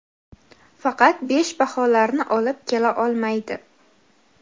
faqat besh baholarni olib kela olmaydi.